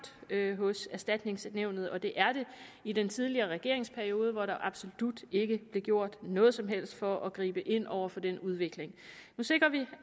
hos erstatningsnævnet det er det i den tidligere regerings periode hvor der absolut ikke blev gjort noget som helst for at gribe ind over for den udvikling nu sikrer vi